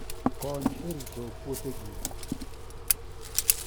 Kony e rito puothegi